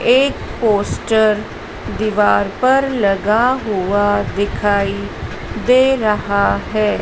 एक पोस्टर दीवार पर लगा हुआ दिखाई दे रहा हैं।